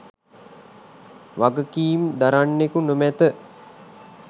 වගකීම් දරන්නෙකු නොමැත.